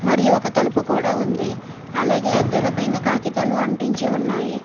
మరియు ఒక తలుపు కూడా ఉంది అలాగే అద్దాల పైన కాగితాలు అంటించి ఉన్నాయి.